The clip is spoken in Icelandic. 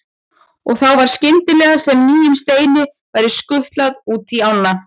Og þá var skyndilega sem nýjum steini væri skutlað út í ána.